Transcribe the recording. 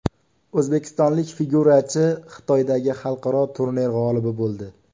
O‘zbekistonlik figurachi Xitoydagi xalqaro turnir g‘olibi bo‘ldi.